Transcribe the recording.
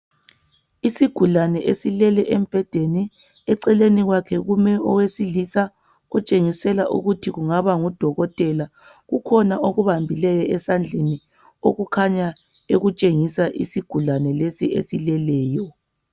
Isigulane esilele embhedeni, eceleni kwakhe kume owesilisa otshengisela ukuthi kungaba ngudokotela. Kukhona akubambileyo esandleni okukhanya ekutshengisa isigulane lesi esileleyo.